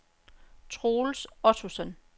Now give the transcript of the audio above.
Troels Ottosen